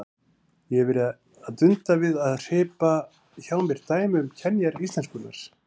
Ég hef verið að dunda við að hripa hjá mér dæmi um kenjar íslenskunnar.